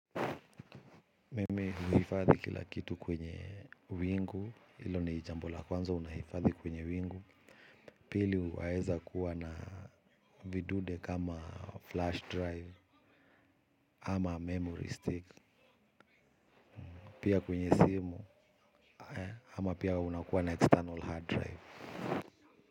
Mimi huifadhi kila kitu kwenye wingu ilo ni jambo la kwanza unahifadhi kwenye wingu. Pili waeza kuwa na vidude kama flash drive ama memory stick. Pia kwenye simu ama pia unakuwa na external hard drive.